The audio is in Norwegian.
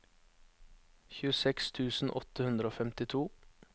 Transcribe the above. tjueseks tusen åtte hundre og femtito